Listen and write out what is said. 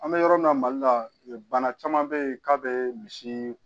An bɛ yɔrɔ min na mali la bana caman bɛ yen k'a bɛ misi